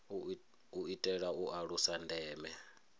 u itela u alusa ndeme